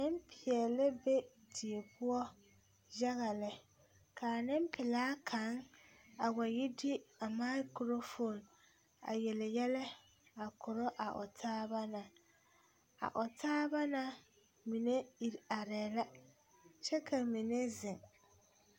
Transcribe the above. Nempeɛle la be die poɔ yaga lɛ k,a nempelaa kaŋ a wa yi de a makurofoni a yele yɛlɛ a korɔ a o taaba na a o taaba na mine iri arɛɛ la kyɛ ka mine zeŋ.